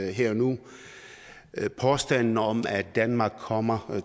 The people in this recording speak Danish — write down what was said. her og nu påstanden om at danmark kommer